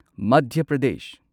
Madhya Pradesh